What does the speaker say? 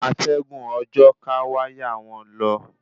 Atẹ́gùn òjò ká wáyà won lo